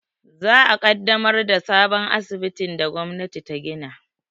Za a ƙaddamar da sabon asibitin da gwamnati ta gina